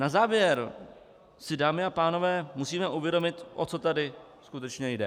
Na závěr si, dámy a pánové, musíme uvědomit, o co tady skutečně jde.